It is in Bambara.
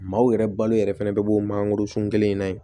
Maaw yɛrɛ balo yɛrɛ fɛnɛ bɛ bɔ mangorosun kelen in na yen